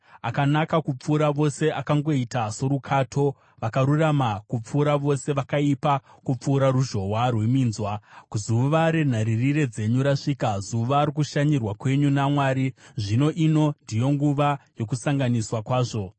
Akanaka kupfuura vose akangoita sorukato, vakarurama kupfuura vose vakaipa kupfuura ruzhowa rweminzwa. Zuva renharirire dzenyu rasvika, zuva rokushanyirwa kwenyu naMwari. Zvino ino ndiyo nguva yokukanganiswa kwavo.